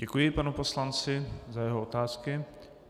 Děkuji panu poslanci za jeho otázky.